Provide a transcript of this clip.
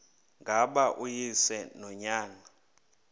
ngaba uyise nonyana